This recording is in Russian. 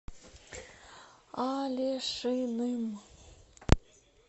алешиным